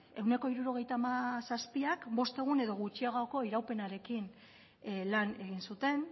ehuneko hirurogeita zazpiak bost egun edo gutxiagoko iraupenarekin lan egin zuten